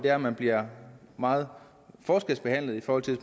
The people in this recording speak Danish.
at man bliver meget forskelsbehandlet i forhold til